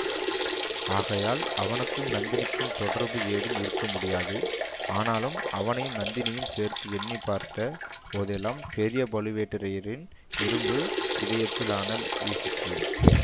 ஆகையால் அவனுக்கும் நந்தினிக்கும் தொடர்பு ஏதும் இருக்கமுடியாது ஆனாலும் அவனையும் நந்தினியையும் சேர்த்து எண்ணி பார்த்த போதெல்லாம் பெரிய பழுவேட்டரையரின் இரும்பு இதயத்தில் அனல் வீசிற்று